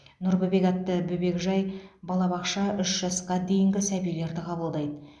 нұр бөбек атты бөбекжай балабақша үш жасқа дейінгі сәбилерді қабылдайды